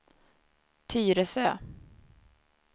Tyresö